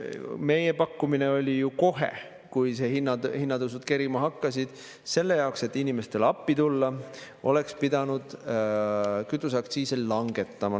Meie pakkumine oli ju kohe, kui hinnatõusud kerima hakkasid, et selle jaoks, et inimestele appi tulla, peaks kütuseaktsiise langetama.